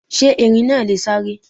Sé Erin náa lè sáré?